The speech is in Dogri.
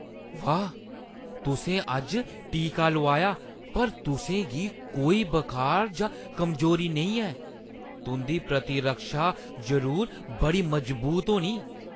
वाह् ! तुसें अज्ज टीका लोआया पर तुसें गी कोई बखार जां कमजोरी नेईं ऐ। तुंʼदी प्रतिरक्षा जरूर बड़ी मजबूत होनी !